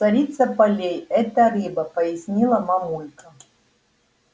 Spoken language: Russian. царица полей это рыба пояснила мамулька